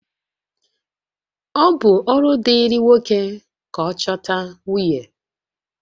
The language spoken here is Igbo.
Ọ bụ ọrụ dịịrị nwoke ka ọ chọta nwunye